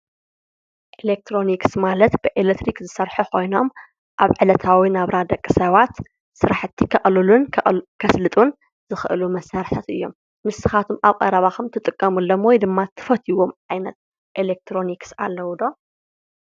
ኤሌክትሮኒክስ ማለት ብኤሌክትሪክ ዝሰርሑ ኮይኖም ኣብ ዕለታዊ ናብራ ደቂ ሰባት ስራሕቲ ከቕልሉን ከስልጡን ዝኽእሉ መሳርሕታት እዮም፡፡ ንስኻትኩም ኣብ ቀረባኹም ትጥቀምሎም ወይ ድማ ትፈትዩዎም ዓይነት ኤሌክትሮኒክስ ኣለው ዶ?